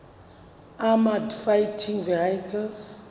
armoured fighting vehicles